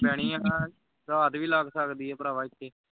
ਪੈਣੀ ਹੈ ਰਾਤ ਵੀ ਲੱਗ ਸਕਦੀ ਹੈ ਭਰਾਵਾਂ ਇਥੇ